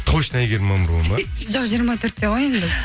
точно әйгерім мамырова ма жоқ жиырма төртте ғой енді